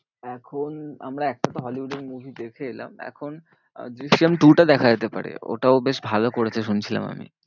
এখন আমরা হলিউড এর movie দেখে এলাম। এখন আহ দৃশ্যাম two টা দেখা যেতে পারে, ওটাও বেশ ভালো করেছে শুনছিলাম আমি।